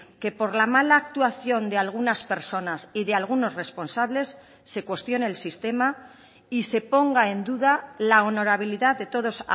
que por la mala actuación de algunas personas y de algunos responsables se cuestione el sistema y se ponga en duda la honorabilidad de todos